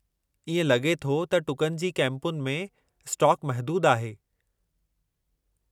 इएं लॻे थो त टुकनि जी कैंपुनि में स्टॉक महदूदु आहे।